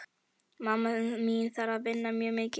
Mamma mín þarf að vinna mjög mikið.